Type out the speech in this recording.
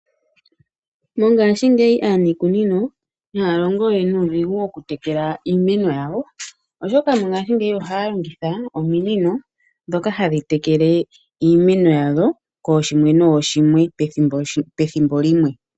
Mongaashingeyi aaniikunino, ihaya longo we nuudhigu woku etekela iimeno yawo, oshoka mongaashingeyi ohaya longitha ominino, ndhoka hadhi tekele iimeno yawo, kooshimwe nooshimwe, pethimbo limwe.